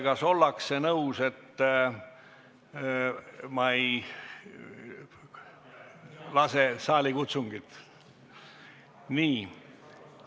Kas ollakse nõus, et ma ei lase saali kutsungit?